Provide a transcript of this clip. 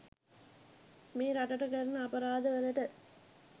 මේ රටට කරන අපරාද වලට.